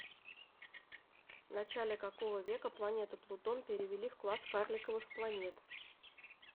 в начале какого века планету плутон перевели в класс карликовых планет